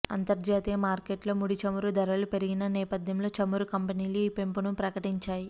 అంతర్జాతీయ మార్కెట్లో ముడి చమురు ధరలు పెరిగిన నేపథ్యంలో చమురు కంపెనీలు ఈ పెంపును ప్రకటించాయి